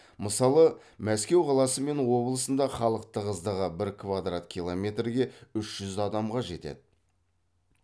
мысалы мәскеу қаласы мен облысында халық тығыздығы бір квадрат километрге үш жүз адамға жетеді